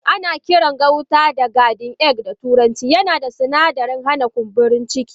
Ana Kiran gauta da garden egg a turanci yana da suna darin hana kumburin ciki.